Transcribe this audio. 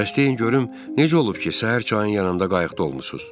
Bəs deyin görüm necə olub ki, səhər çayın yanında qayıqda olmusunuz?